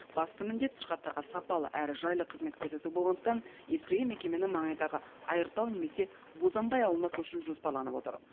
басты міндет сырқаттарға сапалы әрі жайлы қызмет көрсету болғандықтан ескірген мекемені маңайдағы айыртау немесе бозанбай ауылына көшіру жоспарланып отыр